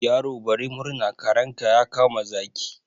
Yaro bari murna, karenka ya kama zaki.